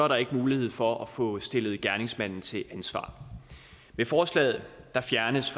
der ikke mulighed for at få stillet gerningsmanden til ansvar med forslaget fjernes